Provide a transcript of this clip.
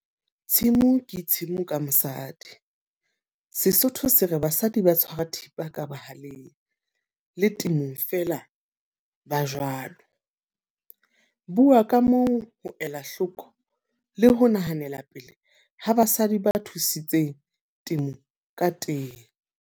Tshimo ke tshimo ka mosadi. Sesotho se re basadi ba tshwara thipa ka bohaleng, le temong fela ba jwalo. Bua ka moo ho ela hloko le ho nahanela pele ha basadi ba thusitseng temo ka teng.